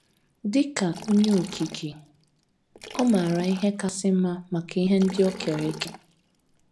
Dị ka Onye Okike, ọ maara ihe kasị mma maka ihe ndị o kere eke.